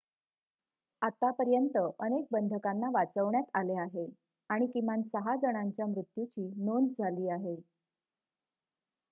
आतापर्यंत अनेक बंधकांना वाचवण्यात आले आहे आणि किमान 6 जणांच्या मृत्यूची नोंद झाली आहे